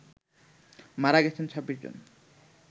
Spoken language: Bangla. মারা গেছেন ২৬ জন